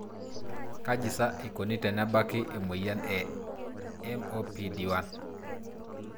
Kaji pasa eikoni tenebaki emoyian e (MOPD1)?